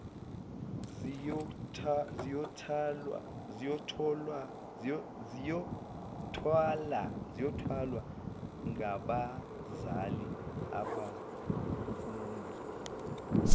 ziyothwalwa ngabazali abafuna